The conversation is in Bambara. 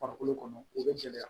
Farikolo kɔnɔ o bɛ gɛlɛya